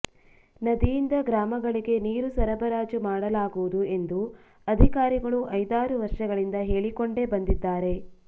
ನದಿಯಿಂದ ಗ್ರಾಮ ಗಳಿಗೆ ನೀರು ಸರಬರಾಜು ಮಾಡಲಾಗು ವುದು ಎಂದು ಅಧಿಕಾರಿಗಳು ಐದಾರು ವರ್ಷಗಳಿಂದ ಹೇಳಿಕೊಂಡೇ ಬಂದಿದ್ದಾರೆ